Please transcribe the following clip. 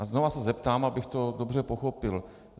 A znovu se zeptám, abych to dobře pochopil.